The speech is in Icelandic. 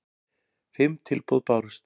Fimm tilboð bárust